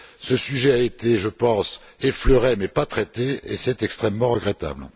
Ce sujet a été, je pense, effleuré mais pas traité, et c'est extrêmement regrettable.